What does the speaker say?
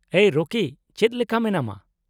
-ᱮᱭ ᱨᱚᱠᱤ, ᱪᱮᱫ ᱞᱮᱠᱟ ᱢᱮᱱᱟᱢᱟ ?